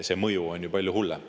See mõju oleks ju palju hullem.